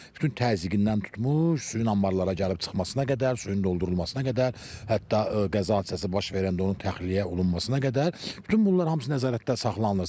Bütün təzyiqindən tutmuş, suyun anbarlara gəlib çıxmasına qədər, suyun doldurulmasına qədər, hətta qəza hadisəsi baş verəndə onun təxliyə olunmasına qədər bütün bunlar hamısı nəzarətdə saxlanılır.